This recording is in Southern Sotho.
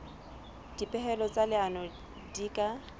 dipehelo tsa leano di ka